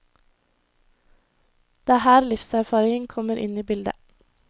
Det er her livserfaring kommer inn i bildet.